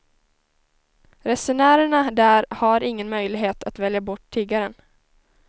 Resenärerna där har ingen möjlighet att välja bort tiggaren.